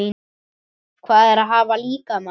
Hvað er að hafa líkama?